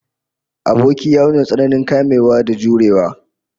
Aboki ya nuna tsananin kamewa da jurewa